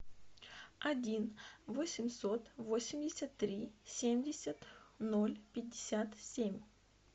один восемьсот восемьдесят три семьдесят ноль пятьдесят семь